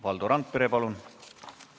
Valdo Randpere, palun!